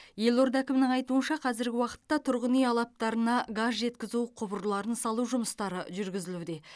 елорда әкімінің айтуынша қазіргі уақытта тұрғын үй алаптарына газ жеткізу құбырларын салу жұмыстары жүргізілуде